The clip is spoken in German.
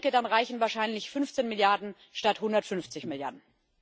Ich denke, dann reichen wahrscheinlich 15 Milliarden statt 150 Milliarden.